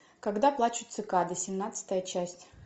когда плачут цикады семнадцатая часть